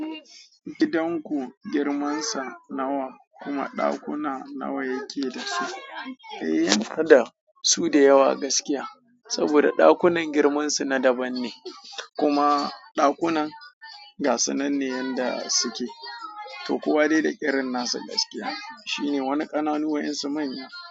Gidan ku girmansa nawa kuma ɗakuna nawa yake dasu? Eh, kada su da yawa gaskiya saboda ɗakunan girman su na daban ne kuma ɗakunan ga sananne yanda suke, to kowa dai da irin nasa gaskiya shine wani ƙananu waƴansu manya.